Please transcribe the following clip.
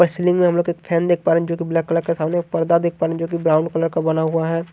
Ceiling में हम लोग एक फैन देख पा रहे हैं जोकि ब्लैक कलर के सामने पर्दा देख पा रहे हैं जोकि ब्राउन कलर का बना हुआ है।